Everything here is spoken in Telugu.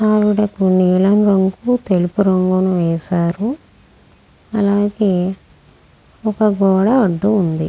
నీలము రంగు అండ్ తెలుపు రంగు వేసారు. అలగేయ్ ఒక గోడ అడ్డు ఉంది.